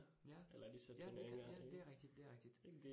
Ja. Ja, det ja det rigtigt det rigtigt